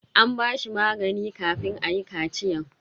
An ba shi magani kafin ayi kachiyan.